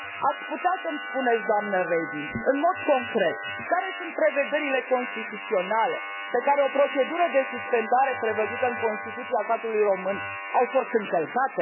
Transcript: Ați putea să îmi spuneți, doamnă Reding, în mod concret, care sunt prevederile constituționale pe care procedura de suspendare, prevăzută în Constituția statului român, le a încălcat?